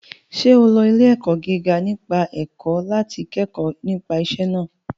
Ṣé o lọ ilé-ẹ̀kọ́ gíga nípa ẹ̀kọ́ láti kẹ́kọ̀ọ́ nípa iṣẹ́ náà?